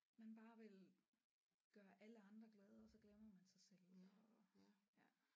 Man bare vil gøre alle andre glade og så glemmer man sig selv og ja